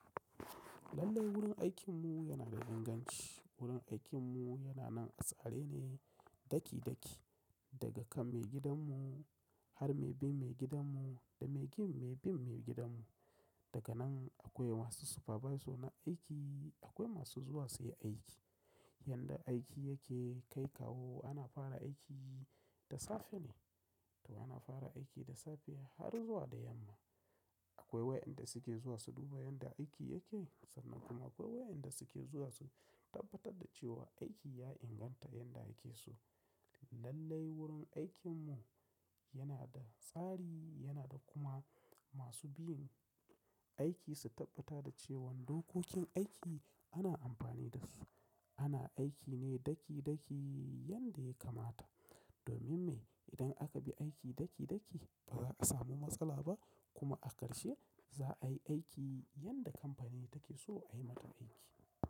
Lallai wurin aikin mu yana da inganci. Wurin aikin mu yana nan a tsare ne. Daki-daki daga kan maigidan mu har mai bin maigidan mu da mai bin maigidan mu. Daga nan akwai masu supervisor na aiki, akwai masu zuwa su yi aiki. Yanda aiki yake kai kawo ana fara aiki da safe ne. To ana fara aiki da safe har zuwa da yamma. Akwai wayanda suke zuwa su duba yanda aiki yake. Sannan kuma akwai wayanda suke zuwa su tabbatar da cewa aiki ya inganta yanda ake so. Lallai wurin aikinmu yana da tsari, yana da kuma masu bin aiki su tabbata da cewan dokokin aiki ana amfani da su. Ana aiki ne daki-daki yanda ya kamata. Domin me? Idan aka bi aiki daki-daki ba za a samu matsala ba kuma a karshe za a yi aiki yanda kamfani take so ai mata aiki.